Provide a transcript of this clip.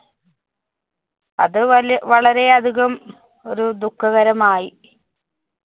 അത് വലി~ വളരെയധികം ഒരു ദുഖകരമായി.